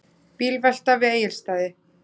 Bílvelta við Egilsstaði